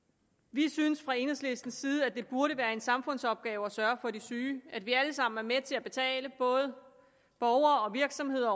vi synes fra enhedslistens side at det burde være en samfundsopgave at sørge for de syge at vi alle sammen burde være med til at betale både borgere og virksomheder